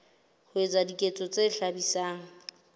ho etsa diketso tse hlabisang